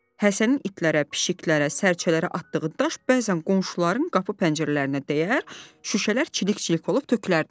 Həsənin itlərə, pişiklərə, sərcələrə atdığı daş bəzən qonşuların qapı-pəncərələrinə dəyər, şüşələr çilik-çilik olub tökülərdi.